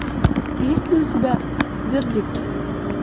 есть ли у тебя вердикт